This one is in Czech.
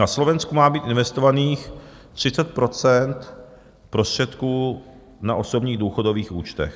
Na Slovensku má být investovaných 30 % prostředků na osobních důchodových účtech.